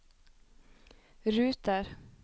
ruter